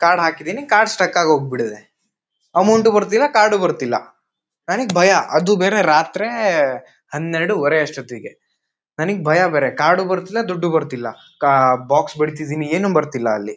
Card ಹಾಕಿದ್ದೀನಿ card stuck ಆಗೋಗಿಬಿಟ್ಟಿದೆ amount ಬರತಿಲ್ಲಾ ಕಾರ್ಡ್ ಬರತಿಲ್ಲಾ. ನನಗ ಭಯ ಅದು ಬೇರೆ ರಾತ್ರೆ ಹನ್ನೆರಡೂವರೆ ಅಷ್ಟೊತ್ತಿಗೆ. ನನಗೆ ಭಯ ಬೇರೆ ಕಾರ್ಡು ಬರತಿಲ್ಲಾ ದುಡ್ಡು ಬರತಿಲ್ಲಾ ಕಾ ಬಾಕ್ಸ್ ಬಿಡತಿದ್ದಿನಿ ಏನು ಬರತಿಲ್ಲಾ ಅಲ್ಲಿ.